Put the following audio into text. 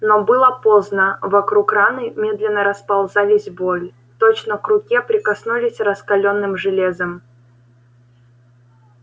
но было поздно вокруг раны медленно расползалась боль точно к руке прикоснулись раскалённым железом